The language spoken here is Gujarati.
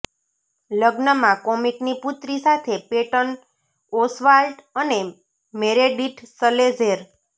લગ્નમાં કોમિકની પુત્રી સાથે પેટન ઓસ્વાલ્ટ અને મેરેડીથ સલેજેર